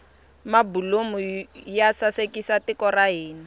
mabulomu ya sasekisa tiko ra hina